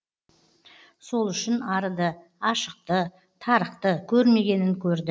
сол үшін арыды ашықты тарықты көрмегенін көрді